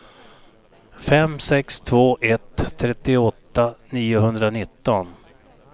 fem sex två ett trettioåtta niohundranitton